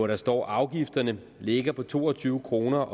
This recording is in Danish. der står afgifterne ligger på to og tyve kroner